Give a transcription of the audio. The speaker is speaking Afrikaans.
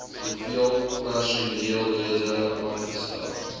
hoeveel personeellede aangestel